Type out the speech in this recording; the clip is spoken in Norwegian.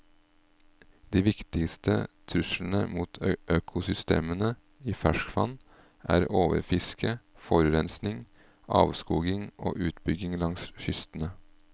De viktigste truslene mot økosystemene i ferskvann er overfiske, forurensning, avskoging og utbygging langs kystene.